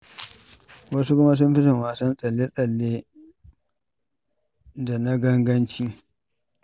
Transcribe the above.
Wasu kuma sun fi son wasannin tsalle-tsalle da na ganganci.